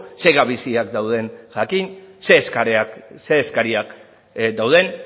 zer gabeziak dauden jakin zein eskariak dauden